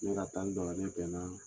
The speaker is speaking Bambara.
Ne bɛ ka taa n ni bɛn na.